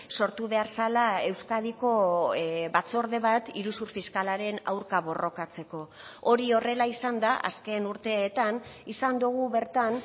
sortu behar zela euskadiko batzorde bat iruzur fiskalaren aurka borrokatzeko hori horrela izanda azken urteetan izan dugu bertan